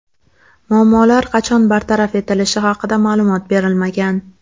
Muammolar qachon bartaraf etilishi haqida ma’lumot berilmagan.